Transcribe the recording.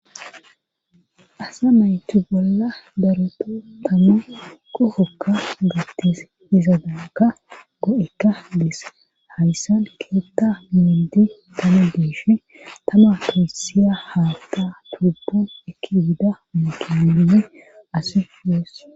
asa naytu bolla daroto tama qohoykka gattes izadaaka go7ekka dees hayssan keetta mindi tama deeshe tama peysiya haatta turbon eki bida mokedume ase fues